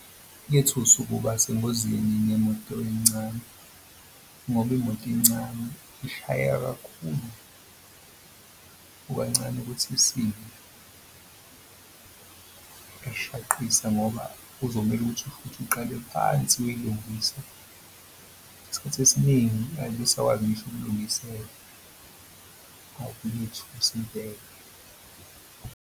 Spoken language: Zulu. Kuyethusa ukuba sengozini nemoto encane ngoba imoto incane ishayeka kakhulu, kukancane ukuthi isimo esishaqisa ngoba kuzomele ukuthi futhi uqale phansi uyoyilungisa. Isikhathi esiningi ayibe isakwazi ngisho ukulungiseka, kuyethusa impela.